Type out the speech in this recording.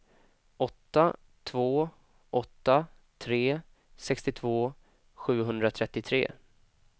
åtta två åtta tre sextiotvå sjuhundratrettiotre